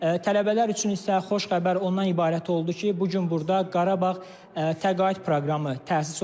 Tələbələr üçün isə xoş xəbər ondan ibarət oldu ki, bu gün burda Qarabağ təqaüd proqramı təsis olundu.